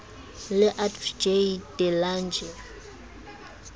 le adv j de lange